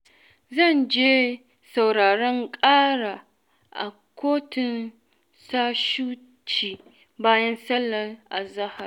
zan je sauraron ƙara a kotun Shahuci, bayan sallar azahar.